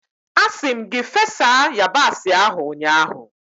Asi m gi fesa yabasị ahu ụnyahụ!